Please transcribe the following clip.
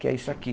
Que é isso aqui.